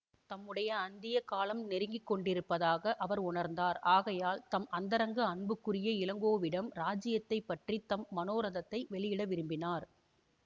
தம்முடைய அந்திய காலம் நெருங்கி கொண்டிருப்பதாக அவர் உணர்ந்தார் ஆகையால் தம் அந்தரங்க அன்புக்குரிய இளங்கோவிடம் இராஜ்யத்தைப் பற்றி தம் மனோரதத்தை வெளியிட விரும்பினார்